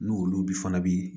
N'olu fana bi